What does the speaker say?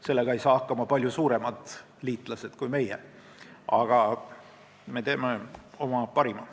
Sellega ei saa hakkama meist palju suuremad liitlased, aga me teeme oma parima.